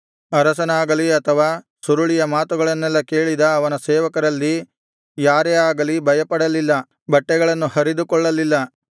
ಅರಸನಾಗಲಿ ಅಥವಾ ಸುರುಳಿಯ ಮಾತುಗಳನ್ನೆಲ್ಲಾ ಕೇಳಿದ ಅವನ ಸೇವಕರಲ್ಲಿ ಯಾರೇ ಆಗಲಿ ಭಯಪಡಲಿಲ್ಲ ಬಟ್ಟೆಗಳನ್ನು ಹರಿದುಕೊಳ್ಳಲಿಲ್ಲ